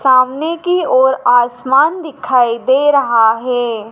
सामने की ओर आसमान दिखाई दे रहा हे ।